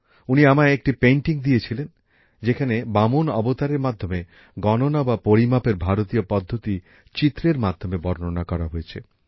উনি আমায় একটি পেন্টিং দিয়েছিলেন যেখানে বামন অবতার এর মাধ্যমে গণনা বা পরিমাপের ভারতীয় পদ্ধতি চিত্রের মাধ্যমে বর্ণনা করা হয়েছে